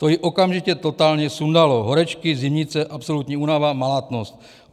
To ji okamžitě totálně sundalo - horečky, zimnice, absolutní únava, malátnost.